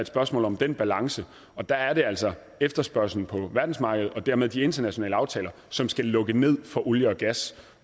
spørgsmål om den balance og der er det altså efterspørgselen på verdensmarkedet og dermed de internationale aftaler som skal lukke ned for olie og gas